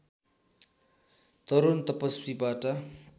तरुण तपसीबाट